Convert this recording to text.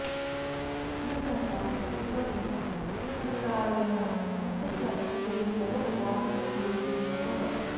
न नटा न विटा न गायका न च सभ्येतरवादचुञ्चवः